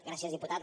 gràcies diputat